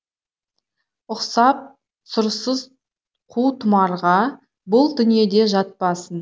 ұқсап сұрсыз қу томарға бұл дүниеде жатпасын